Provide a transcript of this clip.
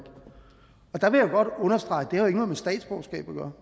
der vil jeg godt understrege at det ikke har noget med statsborgerskab at gøre